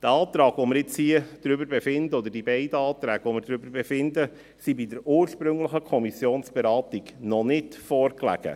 Der Antrag, über den wir hier befinden, oder die beiden Anträge, über die wir befinden, lagen bei der ursprünglichen Kommissionsberatung noch nicht vor.